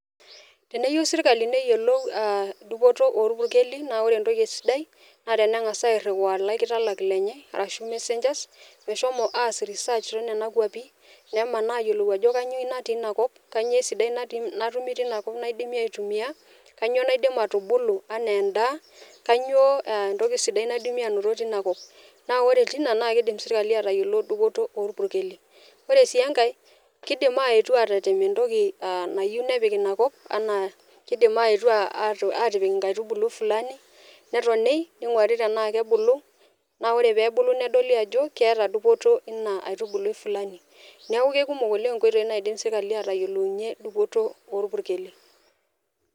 Teneyieu sirkali neyiolou dupoto orpukeli naa ore entoki sidai naa tenengas airiwaa laikitalak lenye ashu messengers meshomo aas research tenena kwapi , nemaa ayiolou ajo kainyio natii inakop , kainyio esidai natumi tinakop naidimi aitumi , kainyio naidim atubulu anaa endaa , naa ore tina naa kidim sirkali atayiolo dupoto orpukeli , ore si enkae kidim aetu atetem entoki nayieu nepik inakop enaa kidim aetu nepik nkaitubulu fulani neoli tenaa kebulu , naa ore tenebulu naa kedoli ajo keeta dupoto inaitubulu fulani.